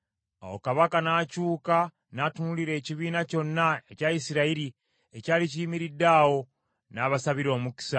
Awo kabaka n’akyuka n’atunuulira ekibiina kyonna ekya Isirayiri ekyali kiyimiridde awo, n’abasabira omukisa.